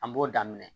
An b'o daminɛ